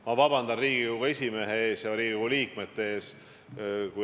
Ma vabandan Riigikogu esimehe ees ja Riigikogu liikmete ees.